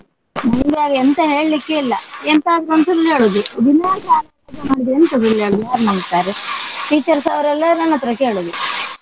ಎಂತ ಹೇಳ್ಲಿಕ್ಕೆ ಇಲ್ಲ ಎಂತಾದ್ರೊಂದು ಸುಳ್ಳು ಹೇಳುದು ದಿನಾ ಶಾಲೆಗೆ ಎಂತ ಸುಳ್ಳು ಹೇಳುದು ಯಾರ್ ನಂಬ್ತಾರೆ. teachers ಅವರೆಲ್ಲ ನನ್ನತ್ರ ಕೇಳುದು.